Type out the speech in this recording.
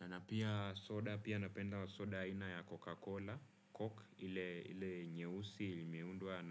Na napia soda pia napenda soda aina ya coca cola, coke ile nyeusi ilmewundwa